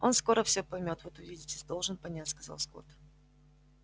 он скоро всё поймёт вот увидите должен понять сказал скотт